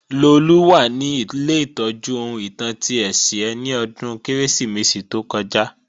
Lolú wà ní ilé ìtọ́jú ohun ìtàn ti Ẹ̀sìẹ́ ni ọdún Kérésìmesì tó kọjá